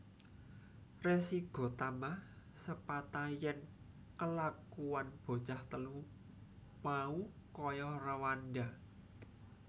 Resi Gotama sepata yèn kelakuwan bocah telu mau kaya réwanda